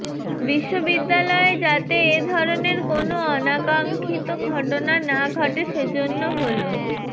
বিশ্ববিদ্যালয়ে যাতে এ ধরনের কোনো অনাকাঙ্ক্ষিত ঘটনা না ঘটে সেজন্য হল